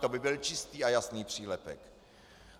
To by byl čistý a jasný přílepek.